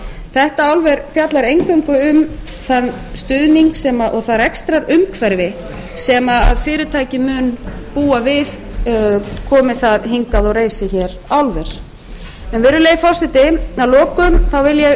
þetta frumvarp fjallar eingöngu um þann stuðning og það rekstrarumhverfi sem fyrirtækið mun búa við komi það hingað og reisi hér álver en virðulegi forseti að lokum þá vil ég